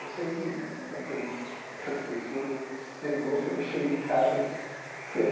Eu sei que um daqueles daquelas pessoas né pegou quando eu cheguei em casa. Foi aí